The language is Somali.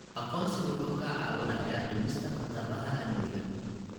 Aqoonsigu wuxuu kaa caawinayaa dhimista khataraha amniga.